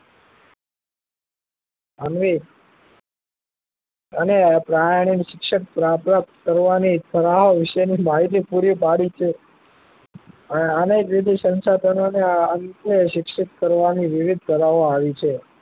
અને પરયાનીક શિક્ષક પ્રાપ્ત કરવા ની વિશે ની માહિતી પૂરી પાડી છે અને સંશાધનો ને આ કલે શિક્ષિત કરવા ની વિવિધ કરારો આવી છે